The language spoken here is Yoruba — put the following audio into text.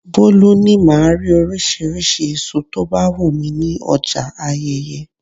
Bolu ní máa rí oríṣiríṣi èso tó bá wù mí ní ọjà Ayeye.